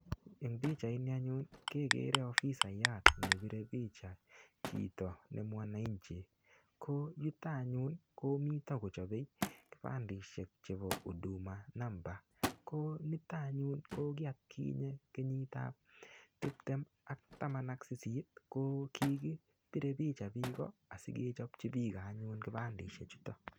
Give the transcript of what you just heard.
En pichaini anyun keger ofisayat nebire picha chito ne mwaninchi ko yuto anyun ko mite kochobe kipandeishek chebo huduma number ko niton anyun, ko ki atkinye kenyit ab tibtem ak taman ak sisit ko kigibire picha biik asikechopji biik anyun kipandeishek chuto